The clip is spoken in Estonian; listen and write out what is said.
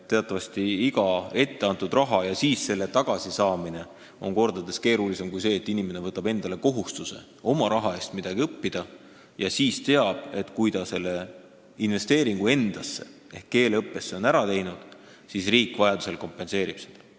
Teatavasti on iga etteantud rahasumma tagasisaamine kordades keerulisem kui see, et inimene võtab kohustuse oma raha eest midagi õppida ja teab, et kui ta selle investeeringu endasse ehk keeleõppesse on ära teinud, siis riik vajadusel kompenseerib seda.